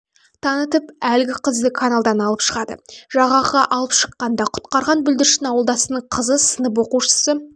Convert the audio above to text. танытып әлгі қызды каналдан алып шығады жағаға алып шыққанда құтқарған бүлдіршін ауылдасының қызы сынып оқушысы